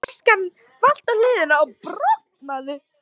Flaskan valt á hliðina og brotnaði.